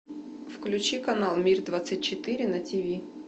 включи канал мир двадцать четыре на тв